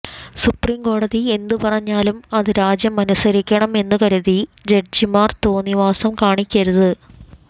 സുപ്രീംകോടതി എന്ത് പറഞ്ഞാലും അത് രാജ്യം അനുസരിക്കണം എന്നു കരുതി ജഡ്ജിമാർ തോന്നിയവാസം കാണിക്കരുത്